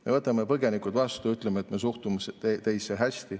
Me võtame põgenikud vastu, ütleme, et me suhtume teisse hästi.